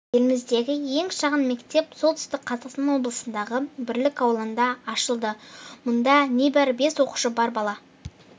еліміздегі ең шағын мектеп солтүстік қазақстан облысындағы бірлік ауылында ашылды мұнда небәрі бес оқушы бар бала